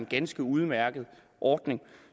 ganske udmærket ordning